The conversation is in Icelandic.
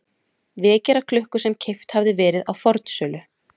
vekjaraklukku sem keypt hafði verið á fornsölu.